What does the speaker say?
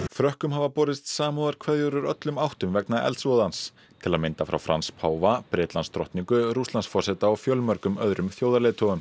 frökkum hafa borist samúðarkveðjur úr öllum áttum vegna eldsvoðans til að mynda frá Frans páfa Rússlandsforseta og fjölmörgum öðrum þjóðarleiðtogum